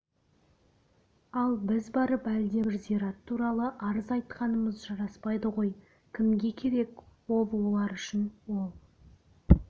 ал біз барып әлдебір зират туралы арыз айтқанымыз жараспайды ғой кімге керек ол олар үшін ол